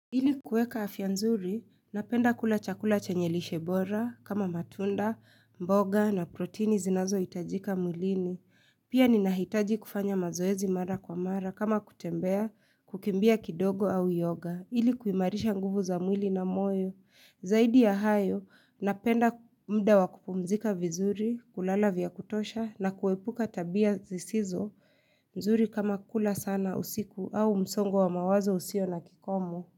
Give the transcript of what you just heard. Ili kueka afya nzuri, napenda kula chakula chenye lishe bora kama matunda, mboga na protini zinazohitajika mwilini. Pia ninahitaji kufanya mazoezi mara kwa mara kama kutembea, kukimbia kidogo au yoga. Ili kuimarisha nguvu za mwili na moyo. Zaidi ya hayo, napenda muda wa kupumzika vizuri, kulala vya kutosha na kuepuka tabia zisizo nzuri kama kula sana usiku au msongo wa mawazo usio na kikomo.